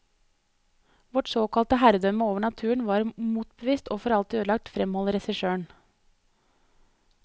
Vårt såkalte herredømme over naturen var motbevist og for alltid ødelagt, fremholder regissøren.